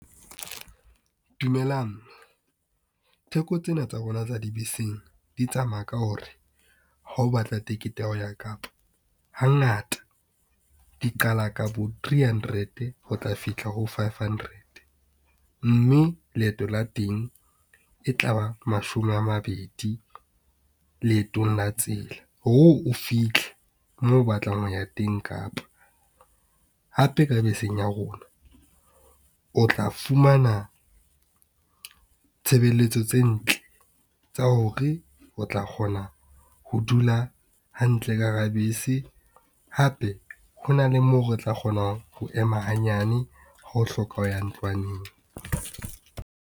Dumelang theko tsena tsa rona tsa dibeseng di tsamaya ka hore ha o batla ticket ya ho ya Kapa hangata di qala ka bo three hundred ho tla fihla ho five hundred, mme leeto la teng e tla ba mashome a mabedi leetong la tsela hore o fitlhe moo o batlang ho ya teng Kapa. Hape ka beseng ya rona o tla fumana, tshebeletso tse ntle tsa hore o tla kgona ho dula hantle ka hara bese. Hape ho na le moo o tla kgona ho ema hanyane ha o hloka ho ya ntlwaneng.